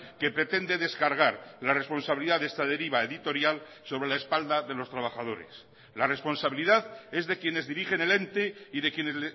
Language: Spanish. que pretende descargar la responsabilidad de esta deriva editorial sobre la espalda de los trabajadores la responsabilidad es de quienes dirigen el ente y de quienes